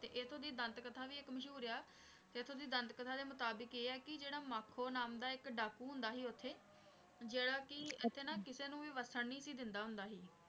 ਤੇ ਏਥੋਂ ਦੀ ਦੰਤ ਕਥਾ ਵੀ ਏਇਕ ਮਸ਼ਹੂਰ ਆਯ ਆ ਏਥੋਂ ਦੀ ਦੰਤ ਕਥਾ ਦੇ ਮੁਤਾਬਿਕ ਆਯ ਆ ਕੀ ਜੇਰਾ ਮਖੁ ਨਾਮ ਦਾ ਏਇਕ ਡਾਕੂ ਹੁੰਦਾ ਸੀ ਓਥੇ ਜੇਰਾ ਕੀ ਏਥੇ ਨਾ ਕਿਸੇ ਨੂ ਵਾਸਨ ਨਾਈ ਸੀ ਦੇਂਦਾ ਸੀ